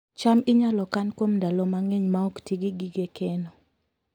cham inyalo kan kuom ndalo mang'eny maok ti gi gige keno